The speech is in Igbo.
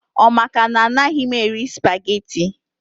Ọ maka na anaghị m eri spageti